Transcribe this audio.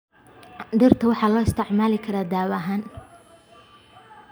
Dhirta waxaa loo isticmaali karaa daawo ahaan.